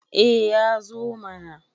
eh ya zo mana